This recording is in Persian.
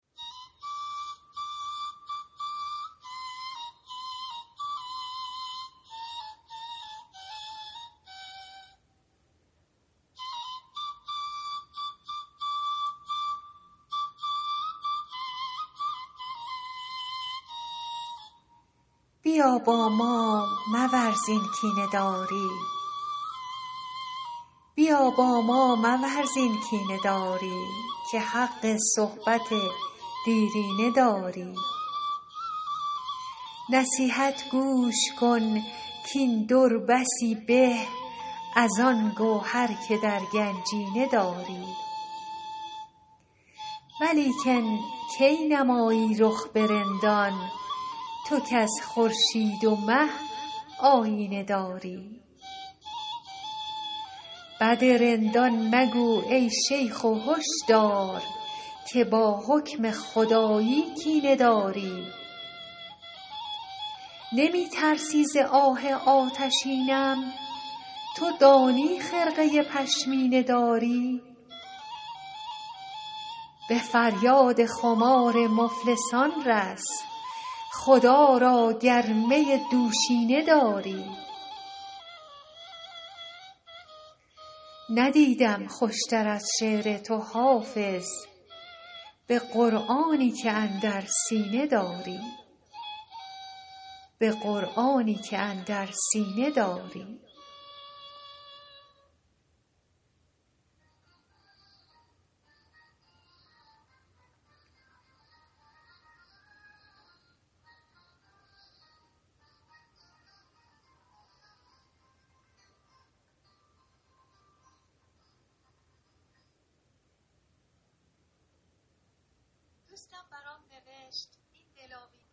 بیا با ما مورز این کینه داری که حق صحبت دیرینه داری نصیحت گوش کن کاین در بسی به از آن گوهر که در گنجینه داری ولیکن کی نمایی رخ به رندان تو کز خورشید و مه آیینه داری بد رندان مگو ای شیخ و هش دار که با حکم خدایی کینه داری نمی ترسی ز آه آتشینم تو دانی خرقه پشمینه داری به فریاد خمار مفلسان رس خدا را گر می دوشینه داری ندیدم خوش تر از شعر تو حافظ به قرآنی که اندر سینه داری